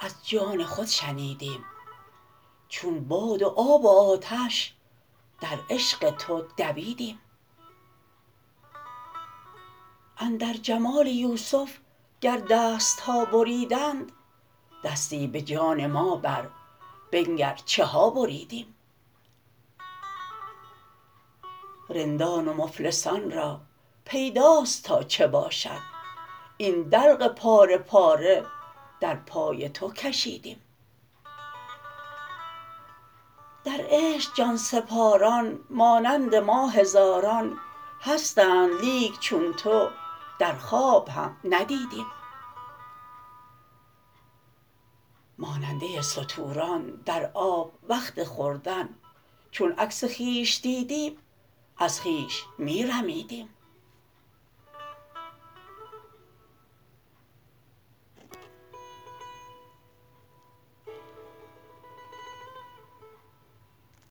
از جان خود شنیدیم چون باد و آب و آتش در عشق تو دویدیم اندر جمال یوسف گر دست ها بریدند دستی به جان ما بر بنگر چه ها بریدیم رندان و مفلسان را پیداست تا چه باشد این دلق پاره پاره در پای تو کشیدیم در عشق جان سپاران مانند ما هزاران هستند لیک چون تو در خواب هم ندیدیم ماننده ستوران در آب وقت خوردن چون عکس خویش دیدیم از خویش می رمیدیم